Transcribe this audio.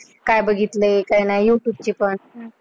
काय बघितलं आणि काय नाही? youtube ची पण